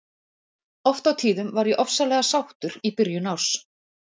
Oft á tíðum var ég ofsalega sáttur í byrjun árs.